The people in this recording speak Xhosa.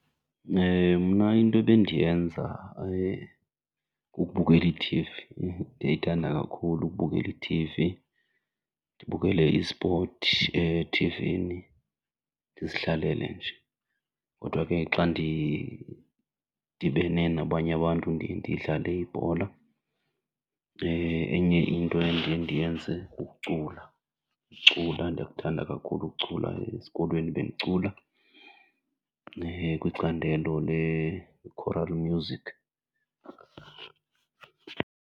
Mna into ebendiyenza kukubukela ithivi, ndiyayithanda kakhulu ukubukela ithivi. Ndibukele ispoti ethivini, ndizihlalele nje. Kodwa ke xa ndidibene nabanye abantu ndiye ndidlale ibhola. Enye into endiye ndiyenze kukucula, ukucula ndiyakuthanda kakhulu ukucula. Esikolweni bendicula kwicandelo le-choral music.